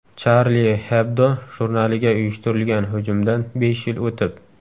Charlie Hebdo jurnaliga uyushtirilgan hujumdan besh yil o‘tib.